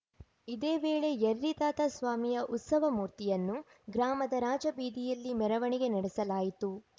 ಇದೇ ವೇಳೆ ಯರ್ರಿತಾತ ಸ್ವಾಮಿಯ ಉತ್ಸವ ಮೂರ್ತಿಯನ್ನು ಗ್ರಾಮದ ರಾಜಬೀದಿಯಲ್ಲಿ ಮೆರವಣಿಗೆ ನಡೆಸಲಾಯಿತು